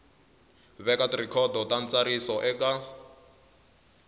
veka tirhikhodo ta ntsariso eka